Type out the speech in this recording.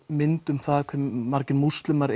mynd um það hvað margir múslimar